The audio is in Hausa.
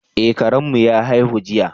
Eh, Karen mu ya haihu jiya.